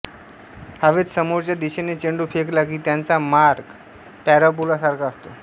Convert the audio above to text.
हवॆेत समोरच्या दिशेने चेंडू फेकला की त्याचा मार्ग पॅराबोलासारखा असतो